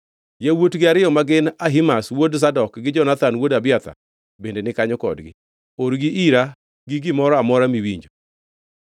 Yawuotgi ariyo ma gin Ahimaz wuod Zadok gi Jonathan wuod Abiathar bende ni kanyo kodgi. Orgi ira gi gimoro amora miwinjo.”